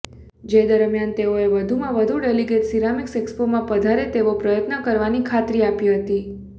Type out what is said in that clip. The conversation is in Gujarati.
જે દરમીયાન તેઓએ વધુમાં વધુ ડેલીગેટ્સ સીરામીક્ષ એક્સપોમાં પધારે તેવા પ્રયત્નો કરવાની ખાતરી આપી હતી